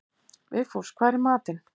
Vigfús, hvað er í matinn?